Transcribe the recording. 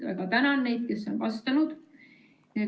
Väga tänan neid, kes on vastanud!